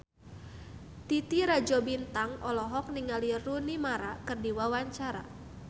Titi Rajo Bintang olohok ningali Rooney Mara keur diwawancara